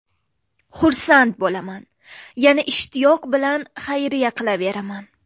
Xursand bo‘laman, yana ishtiyoq bilan xayriya qilaveraman.